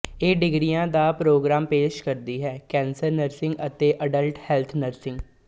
ਏ ਡਿਗਰੀਆਂ ਦਾ ਪ੍ਰੋਗਰਾਮ ਪੇਸ਼ ਕਰਦੀ ਹੈ ਕੈਂਸਰ ਨਰਸਿੰਗ ਅਤੇ ਅਡੱਲਟ ਹੈਲਥ ਨਰਸਿੰਗ